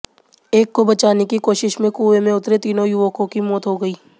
एक को बचाने की कोशिश में कुएं में उतरे तीनों युवकों की मौत हो गई